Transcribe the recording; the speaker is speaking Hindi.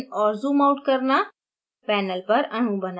rotate zoom इन और zoom out करना